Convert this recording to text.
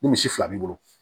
Ni misi fila b'i bolo